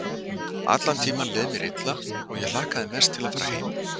Allan tímann leið mér illa og ég hlakkaði mest til að fara heim.